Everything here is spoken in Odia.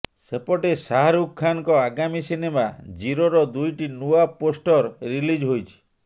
ସେପଟେ ଶାହାରୁଖ ଖାନଙ୍କ ଆଗାମୀ ସିନେମା ଜିରୋର ଦୁଇଟି ନୂଆ ପୋଷ୍ଟର ରିଲିଜ ହୋଇଛି